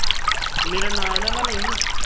ਮੇਰਾ ਨਾਂ ਨਾ ਨਾ ਲਈ